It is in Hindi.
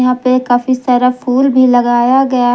पे काफी सारा फूल भी लगाया गया है।